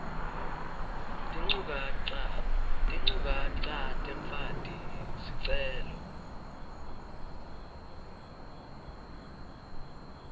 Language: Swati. tinchukaca temfaki sicelo